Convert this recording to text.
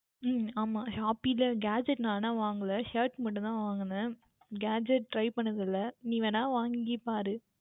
உம் ஆமாம் Shopee யில் Gadget நான் ஆனால் வாங்கவில்லை Shirt மட்டும் தான் வாங்கினேன் Gadget Try பண்ணது இல்லை நீ வேண்டுமென்றால் வாங்கி பார்